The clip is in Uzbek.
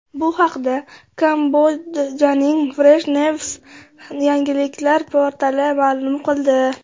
Bu haqda Kambodjaning Fresh News yangilik portali ma’lum qildi .